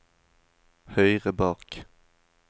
høyre bak